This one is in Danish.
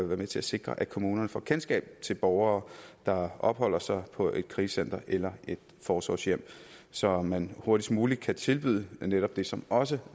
være med til at sikre at kommunerne får kendskab til borgere der opholder sig på et krisecenter eller et forsorgshjem så man hurtigst muligt kan tilbyde netop det som også